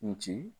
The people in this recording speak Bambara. N ci